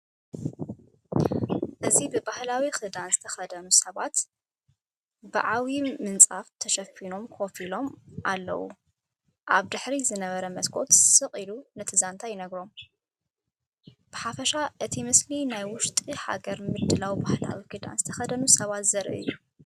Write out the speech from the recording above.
እዚ ብባህላዊ ክዳን ዝተኸድኑ ሰባት ብዓቢ ምንጻፍ ተሸፊኖም ኮፍ ኢሎም ኢሎም ኣለው። ኣብ ድሕሪት ዝነበረ መስኮት ስቕ ኢሉ ነቲ ዛንታ ይነግሮ። ብሓፈሻ እቲ ምስሊ ናይ ውሽጢ ሃገር ምድላውን ባህላዊ ክዳን ዝተኸድኑ ሰባትን ዘርኢ እዩ።